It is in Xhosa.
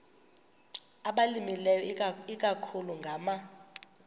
abalimileyo ikakhulu ngama